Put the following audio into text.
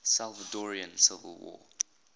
salvadoran civil war